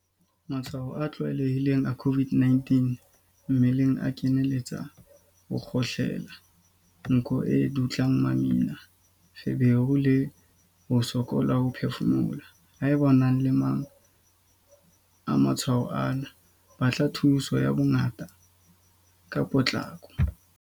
Matshwao a tlwaelehileng a COVID-19 mmeleng a kenyeletsa ho kgohlela, nko e dutlang mamina, feberu le ho sokola ho phefumoloha. Haeba o na le a mang a matshwao ana, batla thuso ya bongaka ka potlako.